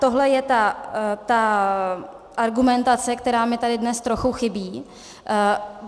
Tohle je ta argumentace, která mi tady dnes trochu chybí.